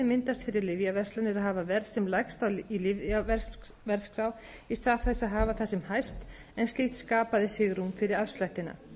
myndast fyrir lyfjaverslanir að hafa verð sem lægst á lyfjaverðskrá í stað þess að hafa það sem hæst en slíkt skapaði svigrúm fyrir afslættina